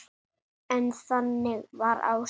En þannig var Ása.